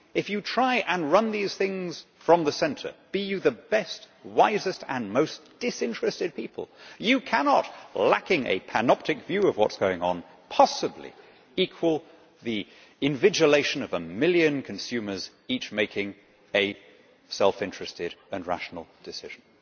If you try and run these things from the centre be you the best, wisest and most disinterested people you cannot, lacking a panoptic view of what is going on, possibly equal the invigilation of a million consumers, each making a self-interested and rational decision.